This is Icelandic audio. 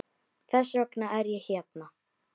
Þess vegna er ég hérna.